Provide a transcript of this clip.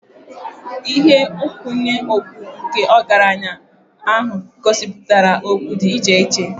Ihe nkwụnye okpu nke ọgaranya ahụ gosipụtara okpu dị iche iche.